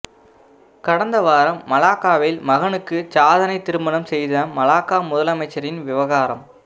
கடந்த வாரம் மலாக்காவில் மகனுக்கு சாதனைத் திருமணம் செய்த மலாக்கா முதல் அமைச்சரின் விவகாரம்